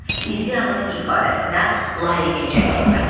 İdeyanın ifadəsinə layiqincə xidmət edir.